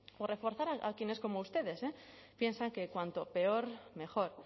o reforzar a quienes como ustedes piensan que cuanto peor mejor